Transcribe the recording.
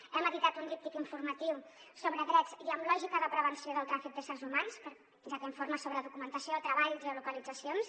hem editat un díptic informatiu sobre drets i amb lògica de prevenció del tràfic d’éssers humans ja que informa sobre documentació treballs i geolocalitzacions